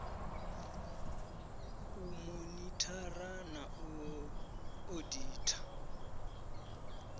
u monithara na u oditha